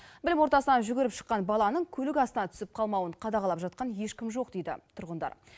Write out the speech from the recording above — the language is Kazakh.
білім ордасынан жүгіріп шыққан баланың көлік астына түсіп қалмауын қадағалап жатқан ешкім жоқ дейді тұрғындар